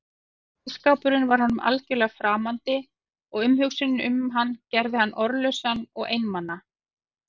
Ísskápurinn var honum algjörlega framandi og umhugsunin um hann gerði hann orðlausan og einmana.